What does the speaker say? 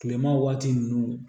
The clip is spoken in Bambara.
Kilema waati ninnu